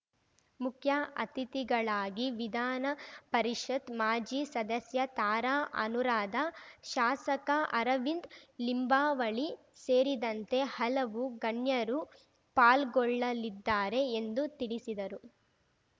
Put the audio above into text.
ಮುಖ್ಯ ಅತಿಥಿಗಳಾಗಿ ವಿಧಾನ ಪರಿಷತ್‌ ಮಾಜಿ ಸದಸ್ಯ ತಾರಾ ಅನುರಾಧ ಶಾಸಕ ಅರವಿಂದ ಲಿಂಬಾವಳಿ ಸೇರಿದಂತೆ ಹಲವು ಗಣ್ಯರು ಪಾಲ್ಗೊಳ್ಳಲಿದ್ದಾರೆ ಎಂದು ತಿಳಿಸಿದರು